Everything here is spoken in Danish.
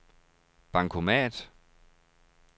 bankomat